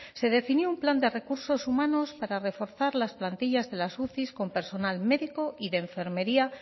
se definió un plan de recursos humanos para reforzar las plantillas de las uci con personal médico y de enfermería